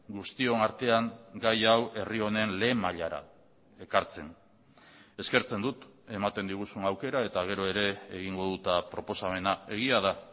guztion artean gai hau herri honen lehen mailara ekartzen ezkertzen dut ematen diguzun aukera eta gero ere egingo dut proposamena egia da